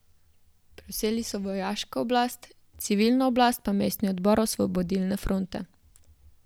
Prevzeli so vojaško oblast, civilno oblast pa mestni odbor Osvobodilne fronte.